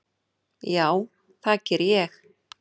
Já, það geri ég.